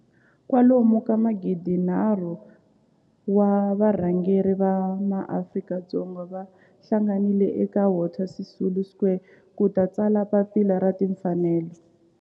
kwalomu ka magidi nharhu, 3 000 wa varhangeri va maAfrika-Dzonga va hlanganile eka Walter Sisulu Square ku ta tsala Papila ra Tinfanelo.